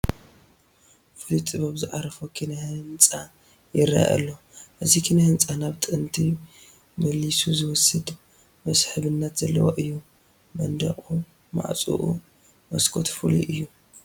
ፍሉይ ጥበብ ዝዓረፎ ኪነ ህንፃ ይርአ ኣሎ፡፡ እዚ ኪነ ህንፃ ናብ ጥንቲ መሊሱ ዝወስድ መስሕብነት ዘለዎ እዩ፡፡ መንደቑ ፣ ማዕፆኡ ፣ መስኮቱ ፍሉይ እዩ፡፡